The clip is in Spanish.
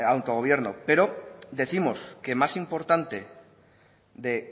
autogobierno pero décimos que más importante de